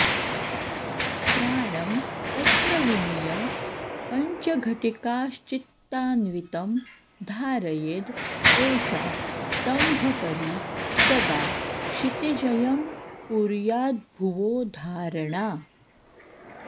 प्राणं तत्र विनीय पञ्चघटिकाश्चित्तान्वितं धारयेद् एषा स्तम्भकरी सदा क्षितिजयं कुर्याद्भुवो धारणा